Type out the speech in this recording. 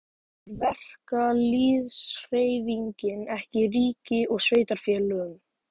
En treystir verkalýðshreyfingin ekki ríki og sveitarfélögum?